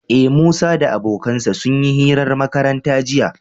Ee, Musa da abokansa sun yi hirar makaranta jiya.